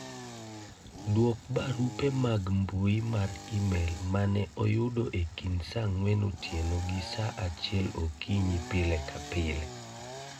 dwok barupe mag mbui mar email mane oyudo e kind saa ang'wen otieno gi saa achiel okinyi pile ka pile